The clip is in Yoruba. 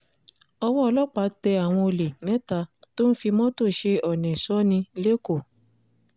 owó ọlọ́pàá tẹ àwọn olè mẹ́ta tó ń fi mọ́tò ṣe ọ́nẹ́ sọni lẹ́kọ̀ọ́